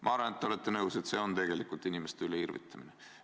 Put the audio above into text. Ma arvan, et te olete nõus, et tegelikult on see inimeste üle irvitamine.